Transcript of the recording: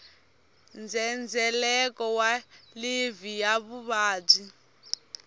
ndzhendzheleko wa livhi ya vuvabyi